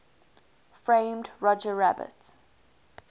framed roger rabbit